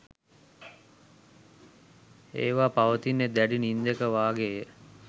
ඒවා පවතිත්නේ දැඩි නින්දක වාගේය.